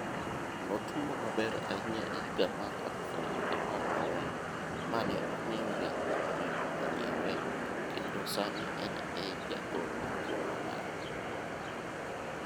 Notugo maber ahinya e higa mar 2014 mane omiyo Real Madrid onyiewe kendo sani en e jagol mokwongo mari.